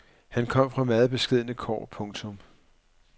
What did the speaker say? Han kom fra meget beskedne kår. punktum